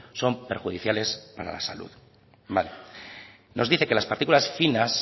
son perjudiciales para la salud nos dice que las partículas finas